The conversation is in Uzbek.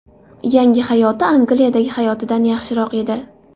Yangi hayoti Angliyadagi hayotidan yaxshiroq edi.